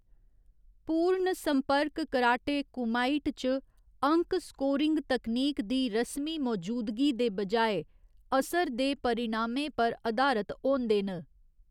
पूर्ण संपर्क कराटे कुमाइट च अंक स्कोरिंग तकनीक दी रस्मी मौजूदगी दे बजाए असर दे परिणामें पर अधारत होंदे न।